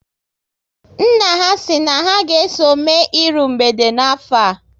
Nna ha si na ha ga eso mme iru mgbede n'afọ a